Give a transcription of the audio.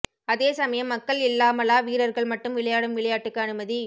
அதே சமயம் மக்கள் இல்லாமலா வீரர்கள் மட்டும் விளையாடும் விளையாட்டுக்கு அனுமதி